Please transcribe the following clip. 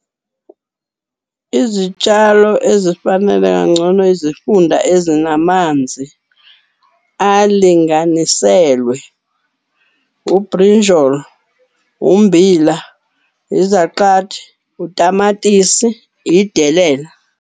Izitshalo ezifanele kangcono izifunda ezinamanzi alinganiselwe ubrinjolo, ummbila, izaqathi, utamatisi, idelela.